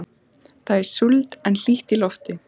Það er súld en hlýtt í lofti.